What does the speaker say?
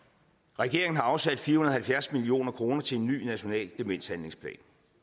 regeringen har afsat fire halvfjerds million kroner til en ny national demenshandlingsplan